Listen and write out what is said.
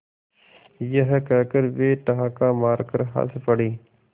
यह कहकर वे ठहाका मारकर हँस पड़े